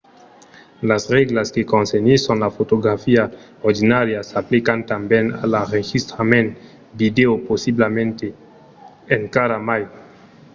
las règlas que concernisson la fotografia ordinària s'aplican tanben a l'enregistrament vidèo possiblament encara mai